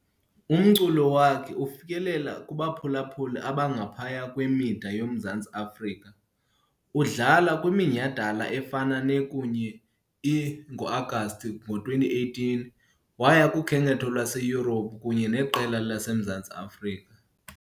Umculo wakhe ufikelele kubaphulaphuli abangaphaya kwemida yoMzantsi Afrika, udlala kwiminyhadala efana ne- kunye e-. Ngo-Agasti 2018, waya kukhenketho lwaseYurophu kunye neqela le laseMzantsi Afrika.